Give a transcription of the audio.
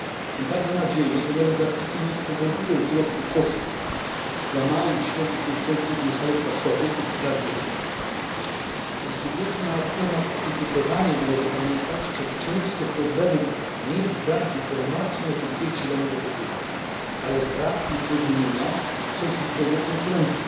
Mam także nadzieję, że nowe zapisy nie spowodują wzrostu kosztów dla małych i średnich producentów mieszanek paszowych dla zwierząt. Dyskutując na temat etykietowania należy pamiętać, że często problemem nie jest brak informacji na etykiecie danego produktu, ale brak jej zrozumienia przez zwykłego konsumenta.